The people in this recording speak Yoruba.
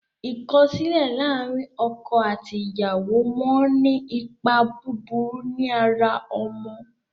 Ikọsilẹ làrin ọkọ àti àyà món ní ni Ipá búburú ní àrà ọmọ.